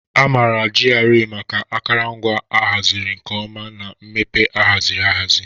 A maara GRA maka akụrụngwa a haziri nke ọma na mmepe ahaziri ahazi.